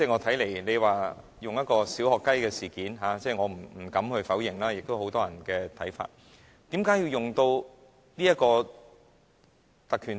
他以"小學雞"來形容此事，我不敢否認，這也是很多人的看法，但為何要引用《議事規則》？